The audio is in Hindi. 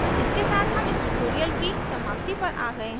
इसके साथ हम इस tutorial की समाप्ति पर आ गया हैं